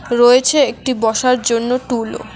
রয়েছে একটি বসার জন্য টুলও।